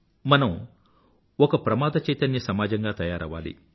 మనం ఒక ప్రమాద చైతన్య samaajamగా తయారవ్వాలి